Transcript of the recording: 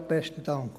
Vorab besten Dank.